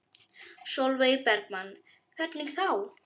Sólveig Bergmann: Hvernig þá?